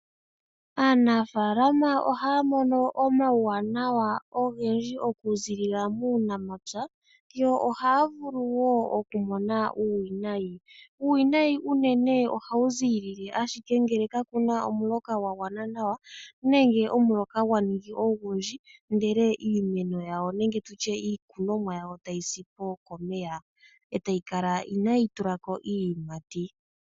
Aanafaalama ohaya mono omauwaanawa ogendji oku ziilila muunamapya yo ohaya vulu wo okumona uuwinayi. Uuwinayi unene ohawu ziilile ashike ngele kaa kuna omuloka gwa gwana nawa nenge omuloka gwa ningi ogundji, ndele iimeno yawo nenge tutye iikunomwa yawo tayi si po komeya, e tayi kala inaa yi tula ko iiyimati.